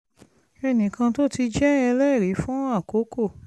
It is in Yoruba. ẹnì kan tó ti jẹ́ ẹlẹ́rìí fún àkókò